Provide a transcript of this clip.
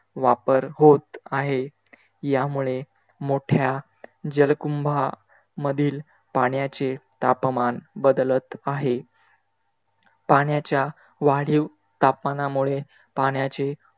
वापर होत आहे. यामुळे मोठ्या जलकुंभा मधील पाण्याचे तापमान बदलत आहे. पाण्याच्या वाढीव तापमानामुळे पाण्याचे